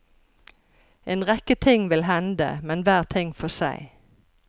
En rekke ting vil hende, men hver ting for seg.